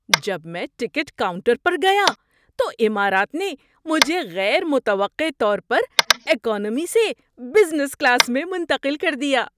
جب میں ticket counter پر گیا تو امارات نے مجھے غیر متوقع طور پر اکانومی سے بزنس کلاس میں منتقل کر دیا۔